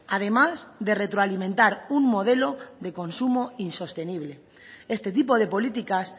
además de retroalimentar un modelo de consumo insostenible este tipo de políticas